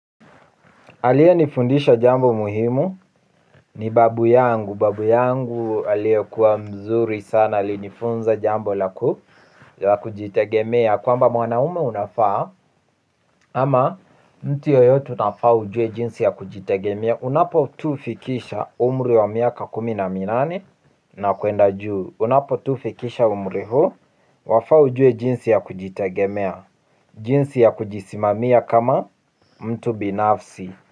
Aliyenifundisha jambo muhimu, ni babu yangu, babu yangu aliyekuwa mzuri sana, alinifunza jambo la ku, la kujitegemea, kwamba mwanaume unafaa, ama mtu yoyote unafaa ujue jinsi ya kujitegemea, unapo tu fikisha umri wa miaka kumi na minane, na kuenda juu, unapo tu fikisha umri huu, wafaa ujue jinsi ya kujitegemea, jinsi ya kujisimamia kama mtu binafsi.